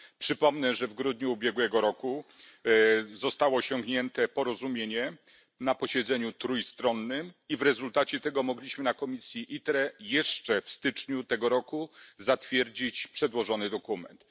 Przypomnę, że w grudniu ubiegłego roku zostało osiągnięte porozumienie na posiedzeniu trójstronnym i w rezultacie tego mogliśmy w komisji ITRE jeszcze w styczniu tego roku zatwierdzić przedłożony dokument.